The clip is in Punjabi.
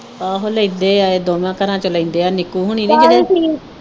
ਆਹੋ ਲੈਦੇ ਆ ਇਹ ਦੋਵਾ ਘਰੋਂ ਵਿਚ ਲੈਂਦੇ ਆ ਨਿੱਕੂ ਹੋਣੀ ਨੀ